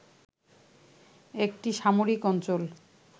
একটি সামরিক অঞ্চল